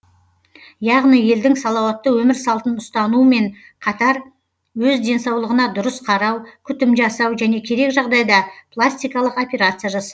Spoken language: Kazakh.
яғни елдің салауатты өмір салтын ұстануымен қатар өз денсаулығына дұрыс қарау күтім жасау және керек жағдайда пластикалық операция жасау